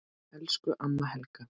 Elsku amma Helga.